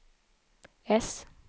äss